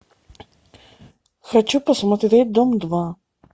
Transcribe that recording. хочу посмотреть дом два